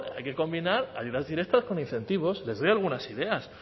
hay que combinar ayudas directas con incentivos les doy algunas ideas